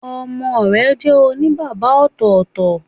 Ọmọ rẹ jẹ́ òní bàbá ọ̀tọ̀ọ̀tọ̀